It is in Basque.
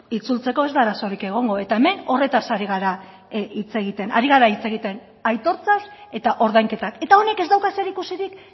itzultzeko ez da arazorik egongo eta hemen horretaz ari gara hitz egiten ari gara hitz egiten aitortzaz eta ordainketak eta honek ez dauka zer ikusirik